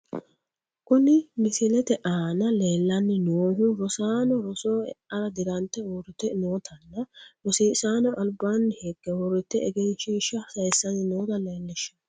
Kuni misilete aana leellanni noohu rosaano rosoho eara dirante uurrite nootanna , rosiisaanono albaanni higge uurrite egenshiishsha sayiissanni noota leellishshanno.